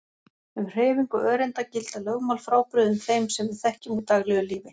Um hreyfingu öreinda gilda lögmál frábrugðin þeim sem við þekkjum úr daglegu lífi.